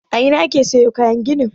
A ina ake siyo kayan gini?